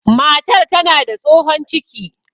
Matar tana da tsohon ciki